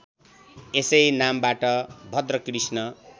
यसै नामबाट भाद्रकृष्ण